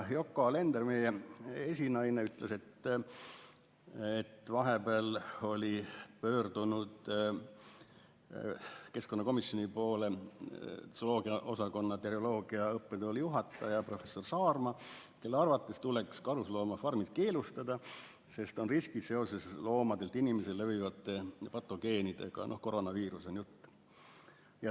Yoko Alender, meie esinaine, ütles, et vahepeal oli pöördunud keskkonnakomisjoni poole zooloogia osakonna terioloogia õppetooli juhataja professor Saarma, kelle arvates tuleks karusloomafarmid keelustada, sest on riskid seoses loomadelt inimestele levivate patogeenidega, koroonaviirusest on jutt.